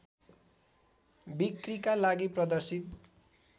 बिक्रीका लागि प्रदर्शित